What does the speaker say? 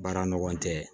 Baara ɲɔgɔn tɛ